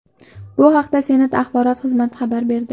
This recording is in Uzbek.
Bu haqda Senat axborot xizmati xabar berdi.